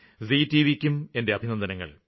G TVയ്ക്കും എന്റെ അഭിനന്ദനങ്ങള്